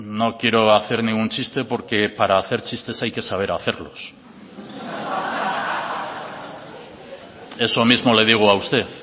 no quiero hacer ningún chiste porque para hacer chistes hay que saber hacerlos eso mismo le digo a usted